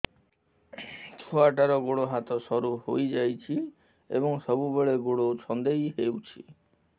ଛୁଆଟାର ଗୋଡ଼ ହାତ ସରୁ ହୋଇଯାଇଛି ଏବଂ ସବୁବେଳେ ଗୋଡ଼ ଛଂଦେଇ ହେଉଛି